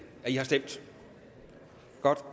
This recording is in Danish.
har stemt godt